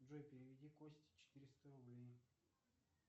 джой переведи косте четыреста рублей